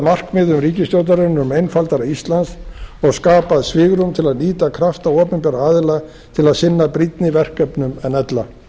markmiðum ríkisstjórnarinnar um einfaldara ísland og skapað svigrúm til þess nýta krafta opinberra aðila til að sinna brýnni verkefnum en ella